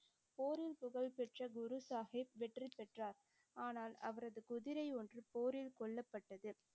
போரில் புகழ்பெற்ற குரு சாஹிப் வெற்றி பெற்றார். ஆனால் அவரது குதிரை ஒன்று போரில் கொல்லப்பட்டது.